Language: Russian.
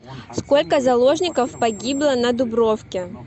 сколько заложников погибло на дубровке